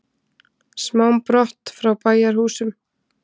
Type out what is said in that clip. Sám brott frá bæjarhúsum.